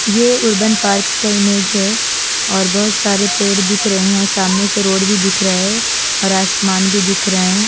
ये urban park का image है और बोहोत सारे पेड़ दिख रहे है सामने से रोड भी दिख रहा है और आसमान भी दिख रहा है।